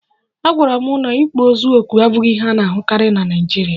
Agwara m na ịkpọ ozu ọkụ abụghị ihe a na-ahụkarị na Naịjirịa